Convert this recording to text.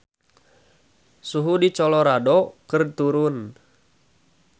Suhu di Colorado keur turun